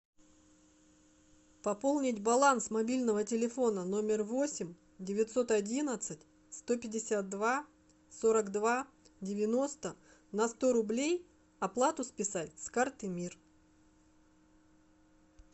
пополнить баланс мобильного телефона номер восемь девятьсот одиннадцать сто пятьдесят два сорок два девяносто на сто рублей оплату списать с карты мир